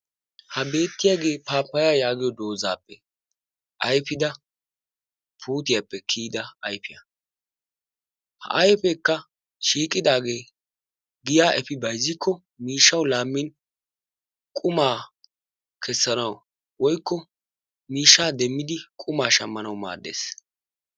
Ha beetiyaagee pappayiya yaagiyo doozaappe ayfida puutiyaappe kiyida ayfiya. Ha ayfeekka shiiqqidaagee giya efi bayzzikko miishshawu laammin qummaa kessanawu woykko miishshaa demmidi qummaa shammanawu maaddees.